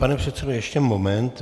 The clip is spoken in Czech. Pane předsedo, ještě moment.